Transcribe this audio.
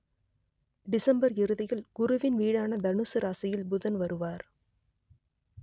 December இறுதியில் குருவின் வீடான தனுசு ராசியில் புதன் வருவார்